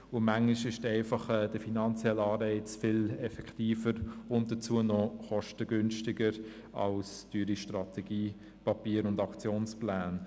Manchmal ist der finanzielle Anreiz viel effektiver und dazu auch kostengünstiger als teure Strategiepapiere und Aktionspläne.